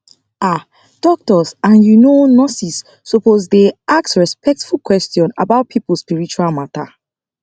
ah doctors and you know nurses suppose dey ask respectful question about people spiritual matter